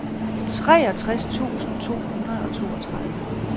treogtres tusind to hundrede og toogtredive